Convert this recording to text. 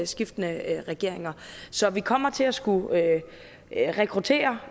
skiftende regeringer så vi kommer til at skulle rekruttere